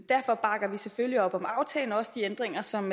selvfølgelig op om aftalen og også de ændringer som